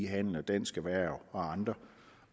handel og dansk erhverv og andre